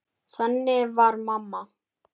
Þannig var mamma.